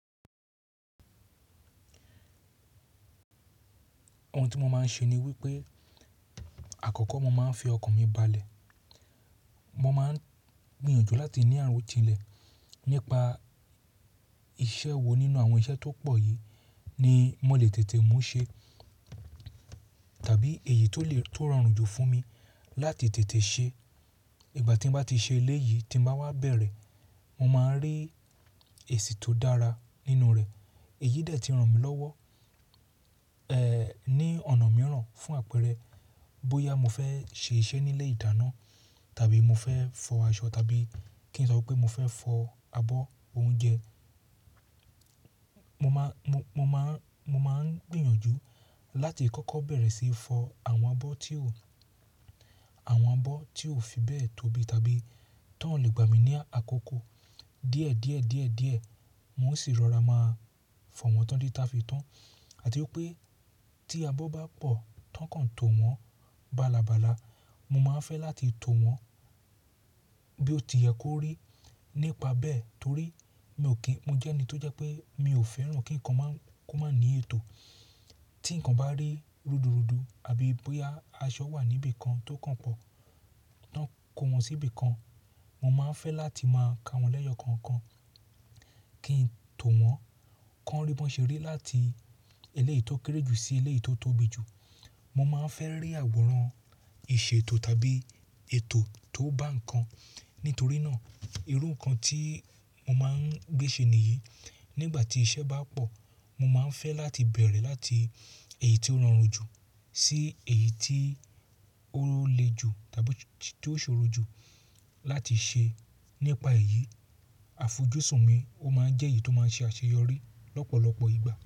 Ohun tí mo máa ń ṣe ni wípé àkọ́kọ́ mo máa ń fi ọkàn mi balẹ̀. Mo máa ń gbìyànjú láti ní àròjinlẹ̀ nípa iṣẹ́ wo nínú àwọn iṣẹ́ tó pọ̀ yìí ni mo lè tètè mú ṣe, tàbí èyí tó rọrùn jù fún mi láti tètè ṣe. Ìgbà tí bá ti ṣe eléyìí tí bá wá bẹ̀rẹ̀, mo máa ń rí èsì tó dára nínú rẹ̀. Èyí dẹ̀ ti ràn mí lọ́wọ́, ní ọ̀nà mìíràn fún àpẹẹrẹ bóyá mo fẹ́ ṣe iṣẹ́ ní ilé ìdáná tàbí mo fẹ́ fọ aṣọ tàbí kí n sọ pé mo fẹ́ fọ abọ́ oúnjẹ. Mo máa ń gbìyànjú láti kọ́kọ́ bẹ̀rẹ̀ síí fọ àwọn abọ́ tí ò fi bẹ́ẹ̀ tóbi tàbí tó ń lè gbà mí ní àkókò. Díẹ̀die mo sì rọra máa fọ wọn títi ta fi tán. Àti wípé, tí abọ́ bá pọ̀ tán kan tówọ balabala, mo máa ń fẹ́ láti towọ bo ti yẹ kó rí, nípa bẹ́ẹ̀.torí mo jẹ́ ẹni tó jẹ́ pé, mi ò fẹ́ràn kí nǹkan kó máa ní ètò. Tí nǹkan bá rí rúdurùdu àbí bóyá aṣọ wà níbi kan tó kàn pọ̀, tán kó wọn sí ibìkan, mo máa ń fẹ́ láti máa ka wọn lẹ́yọ kankan kí n tó wọn. Kán rí bí wọ́n ṣe rí láti eléyìí tó kéré jù sí eléyìí tó tóbi jù. Mo máa ń fẹ́ rí àwòrán ìṣètò tàbí ètò tó bá nǹkan. Nítorí náà, irú nǹkan tí mo máa ń gbé ṣe nìyí. Nígbà tí iṣẹ́ bá pọ̀, mo máa ń fẹ́ láti bẹ̀rẹ̀ láti èyí tí ó rọrùn jù, sí èyí tí ó lé jù tàbí tí ó ṣòro jù láti ṣe. Nípa èyí, àfojúsùn mi ó máa ń jẹ́ èyí tó máa ń ṣe àṣeyọrí lọ́pọ̀lọpọ̀ ìgbà.